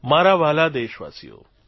મારા વ્હાલા દેશવાસીઓ